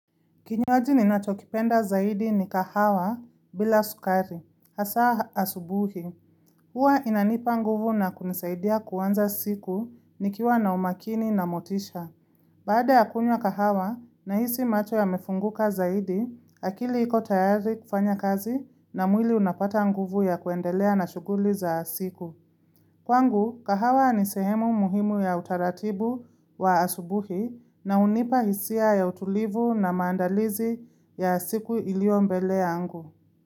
Kinywaji ninachokipenda zaidi ni kahawa bila sukari, hasa asubuhi. Hua inanipa nguvu na kunisaidia kuwanza siku nikiwa na umakini na motisha. Baada ya kunywa kahawa nahisi macho yamefunguka zaidi, akili ikotayari kufanya kazi na mwili unapata nguvu ya kuendelea na shuguli za siku. Kwangu, kahawa ni sehemu muhimu ya utaratibu wa asubuhi na unipahisia ya utulivu na mandalizi ya siku iliombele yangu.